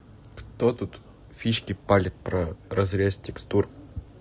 кто тут фишки смотрит разрез текстур